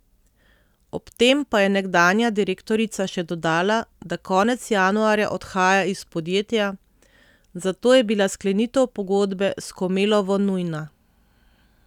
Ob tem pa je nekdanja direktorica še dodala, da konec januarja odhaja iz podjetja, zato je bila sklenitev pogodbe s Komelovo nujna.